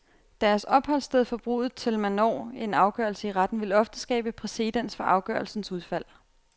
Deres opholdssted fra bruddet til man når en afgørelse i retten, vil ofte skabe præcedens for afgørelsens udfald.